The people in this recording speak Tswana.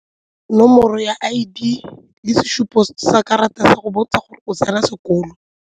Nomoro ya I_D le sesupo sa karata go botsa gore o tsena sekolo.